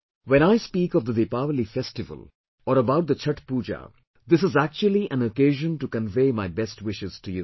When I speak of the Deepawali festival or about the Chhathh Pooja this is actually an occasion to convey my best wishes to you